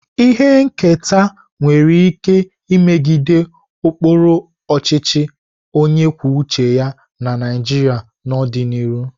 Ihe nketa nwere ike imegide ụkpụrụ ọchịchị onye kwuo uche ya na Naịjirịa n'ọdịnihu.